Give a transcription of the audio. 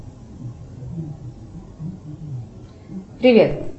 привет